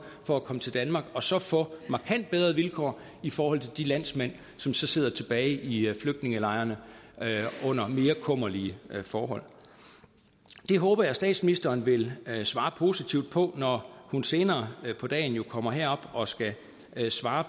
for at komme til danmark og som så får markant bedre vilkår i forhold til de landsmænd som sidder tilbage i flygtningelejrene under mere kummerlige forhold det håber jeg at statsministeren vil svare positivt på når hun senere på dagen kommer herop og skal svare